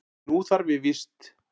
Nú þarf ég víst.